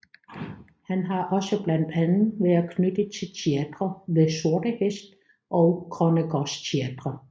Han har også blandt andet været knyttet til Teatret ved Sorte Hest og Grønnegårdsteatret